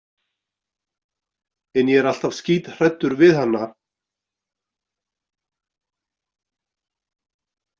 En ég er alltaf skíthræddur við hana.